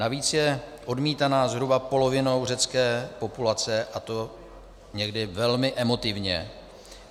Navíc je odmítaná zhruba polovinou řecké populace, a to někdy velmi emotivně.